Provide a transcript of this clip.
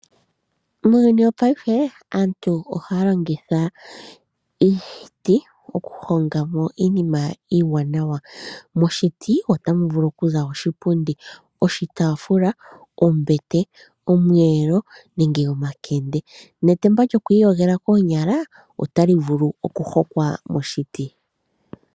Muuyuni wopayife aantu ohaya longitha iiti oku honga mo iinima iiwanawa yayoolokathana. Moshiti ota mu vulu oku za oshipundi, oshitaafula, ombete, omweelo nosho woo etemba lyoku iyo gela koonyala.